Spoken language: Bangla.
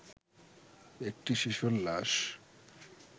একটি শিশুর লাশ